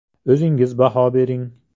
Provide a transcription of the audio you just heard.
O‘zingiz baho bering.